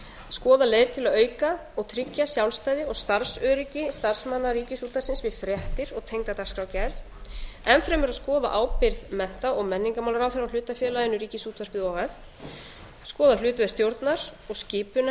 skoða leiðir til að auka og tryggja sjálfstæði og starfsöryggi starfsmanna ríkisútvarpsins við fréttir og tengda dagskrárgerð enn fremur að skoða ábyrgð mennta og menningarmálaráðherra á hlutafélaginu ríkisútvarpið o h f skoða hlutverk stjórnar og skipunar